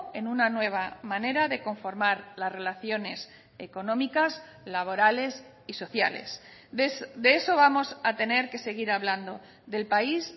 en una nueva manera de conformar las relaciones económicas laborales y sociales de eso vamos a tener que seguir hablando del país